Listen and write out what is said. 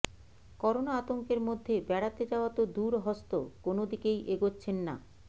corona আতঙ্কের মধ্যে বেড়াতে যাওয়া তো দূরহস্ত কোনদিকেই এগোচ্ছেন না